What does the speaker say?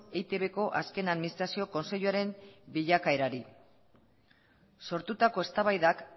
eitbko azken administrazio kontseiluaren bilakaerari sortutako eztabaidak